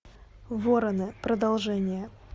вороны продолжение